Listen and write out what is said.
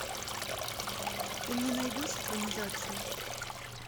ты мне найдешь экранизацию